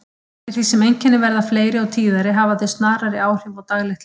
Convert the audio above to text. Eftir því sem einkennin verða fleiri og tíðari hafa þau snarari áhrif á daglegt líf.